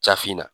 Jafinna